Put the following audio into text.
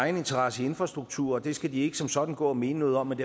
interesse i infrastrukturen og det skal de ikke som sådan gå og mene noget om men